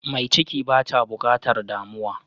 Mai ciki bata bukatar damuwa.